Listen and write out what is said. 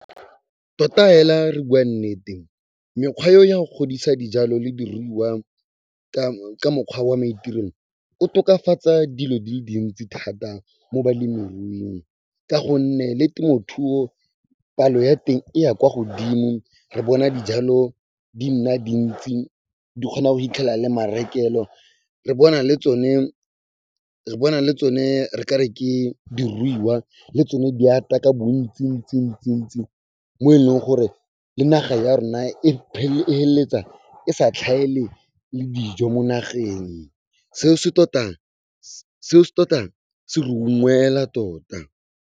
Tota fela fa re bua nnete, mekgwa e ya go godisa dijalo le diruiwa ka mokgwa wa maitirelo, o tokafatsa dilo di le dintsi thata mo balemiruing ka go nne le temothuo, palo ya teng e ya kwa godimo. Re bona dijalo di nna dintsi, di kgona go fitlhela le marekelo. Re bona le tsone re kare ke diruiwa le tsone di ata ka bontsi ntsi ntsi ntsi ntsi, mo e leng gore le naga ya rona e feleletsa e sa tlhaele le dijo mo nageng. Seo se tota se re unngwela tota.